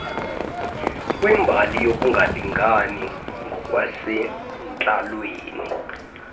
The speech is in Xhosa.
kwimbali yokungalingani ngokwasentlalweni